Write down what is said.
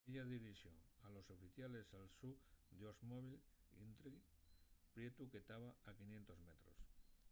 ella dirixó a los oficiales al so oldsmobile intrigue prietu que taba a 500 metros